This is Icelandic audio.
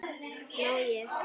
má ég!